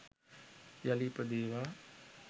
යළි ඉපදේවා